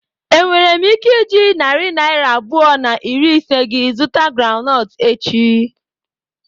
Enwere m ike iji narị naira abụọ na iri ise gị zụta groundnut echi?